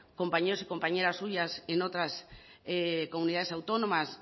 compañeros y compañeras suyas en otras comunidades autónomas